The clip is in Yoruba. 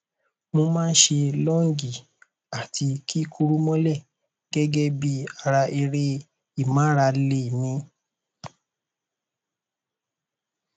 mo má a ń ṣe lọọnjì àti kíkúrú mọlẹ gẹgẹ bí ara eré ìmárale mi